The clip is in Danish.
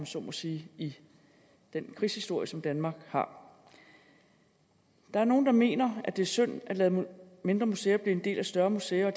så må sige i den krigshistorie som danmark har der er nogle der mener det er synd at lade mindre museer blive en del af større museer og